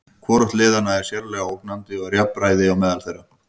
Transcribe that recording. Hvorugt liðanna er sérlega ógnandi og er jafnræði á meðal þeirra.